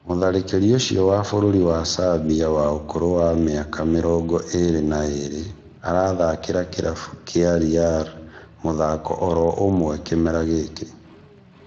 Mũtharĩkĩri ũcio wa bũrũri wa Serbia wa ũkũrũ wa mĩaka mĩrongo ĩrĩ na erĩ arathakĩra kĩrabu kĩa Real mũthako oro ũmwe kĩmera gĩkĩ